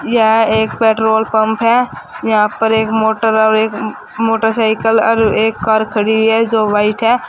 यह एक petrol pump है यहा पर एक मोटर और एक मोटरसाइकल और एक कार खड़ी हुई है जो व्हाइट है।